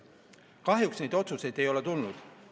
Kahjuks neid otsuseid ei ole tulnud.